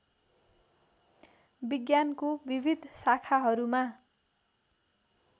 विज्ञानको विविध शाखाहरूमा